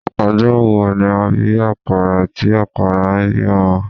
Ọjọ́ wo ni a bí àkàrà tí àkàrà ń bí ọmọ?